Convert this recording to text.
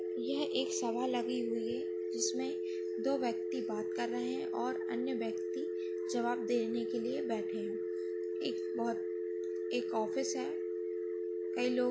यह एक सभा लगी हुई है जिसमे दो व्यक्ती बात कर रहे है और अन्य व्यक्ती जवाब देने के लिये बैठे है एक बहुत एक ऑफिस है कई लोग --